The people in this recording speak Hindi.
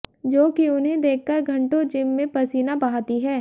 जो कि उन्हें देखकर घंटो जिम में पसीना बहाती है